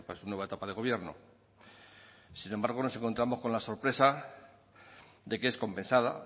su nueva etapa de gobierno sin embargo nos encontramos con la sorpresa de que es compensada